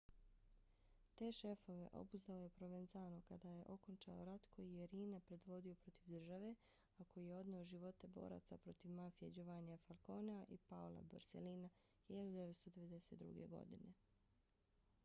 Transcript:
te šefove obuzdao je provenzano kad je okončao rat koji je riina predvodio protiv države a koji je odneo živote boraca protiv mafije giovannija falconea i paola borsellina 1992. godine